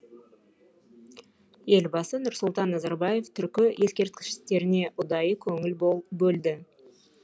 елбасы нұрсұлтан назарбаев түркі ескерткіштеріне ұдайы көңіл бөлді